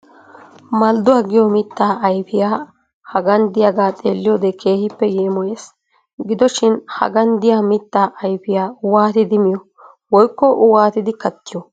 Malduwa giyo mittaa ayipiyaa hagan diyaaga xeelliyode keehippe yeemoyes. Gido shin hagan diya mittaa ayifiya waatidi miyo, woyikko waayidi kattiyo?